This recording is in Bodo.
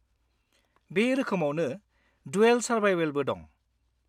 -बे रोखोमावनो 'ड्युल सारभाइभल ' बो दं।